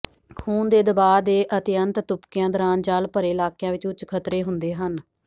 ਖੂਨ ਦੇ ਦਬਾਅ ਦੇ ਅਤਿਅੰਤ ਤੁਪਕਿਆਂ ਦੌਰਾਨ ਜਲ ਭਰੇ ਇਲਾਕਿਆਂ ਵਿਚ ਉੱਚ ਖਤਰੇ ਹੁੰਦੇ ਹਨ